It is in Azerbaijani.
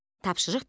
Tapşırıq bir.